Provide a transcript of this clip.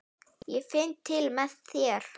Ég finn til með þér.